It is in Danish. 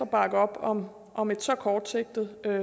bakke op om om et så kortsigtet